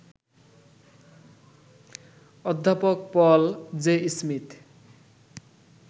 অধ্যাপক Paul J Smith